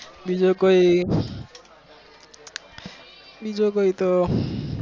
બીજું કોઈ બીજું કોઈક